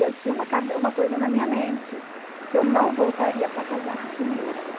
E eu tinha uma uma coisa na minha mente, que eu não voltaria para casar com ele.